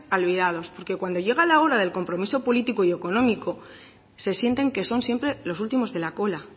olvidados porque cuando llega la hora del compromiso político y económico se sienten que son siempre los últimos de la cola